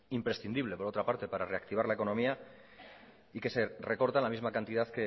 imprescindible por otra parte para reactivar la economía y que se recorta la misma cantidad